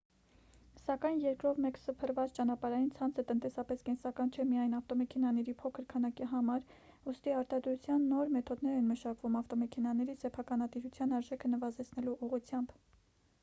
սակայն երկրով մեկ սփռված ճանապարհային ցանցը տնտեսապես կենսական չէ միայն ավտոմեքենաների փոքր քանակի համար ուստի արտադրության նոր մեթոդներ են մշակվում ավտոմեքենաների սեփականատիրության արժեքը նվազեցնելու ուղղությամբ